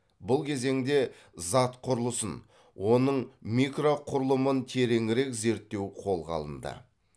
бұл кезеңде зат құрылысын оның микроқұрылымын тереңірек зерттеу қолға алынды